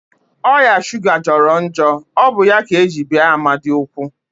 Oya shuga jọrọ njọ, ọ bụ ya ka eji bee Amadi ụkwụ